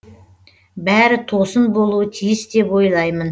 бәрі тосын болуы тиіс деп ойлаймын